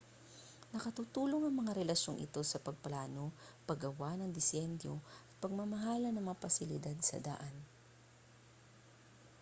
nakatutulong ang mga relasyong ito sa pagpaplano paggawa ng disenyo at pamamahala ng mga pasilidad sa daan